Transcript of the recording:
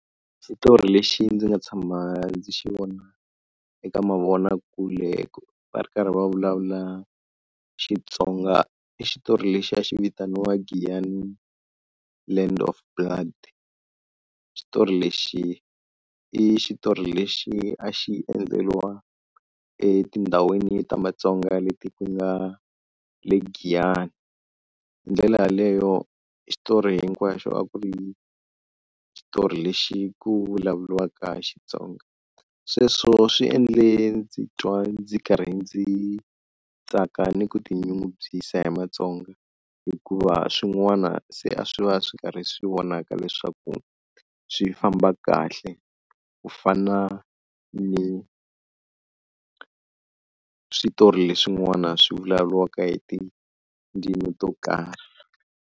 Xitori lexi ndzi nga tshama ndzi xi vona eka mavonakule va ri karhi va vulavula Xitsonga i xitori lexi a xi vitaniwa Giyani Land of Blood. Xitori lexi i xitori lexi a xi endleriwa etindhawini ta Matsonga leti ku nga le Giyani. Hi ndlela yaleyo xitori hinkwaxo a ku ri xitori lexi ku vulavuriwaka Xitsonga, sweswo swi endle ndzi titwa ndzi karhi ndzi tsaka ni ku tinyungubyisa hi Matsonga hikuva swin'wana se a swi va swi karhi swi vonaka leswaku swi famba kahle ku fana ni switori leswin'wana swi vulavuriwaka hi tindzimi to karhi.